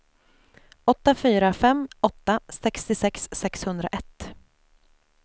åtta fyra fem åtta sextiosex sexhundraett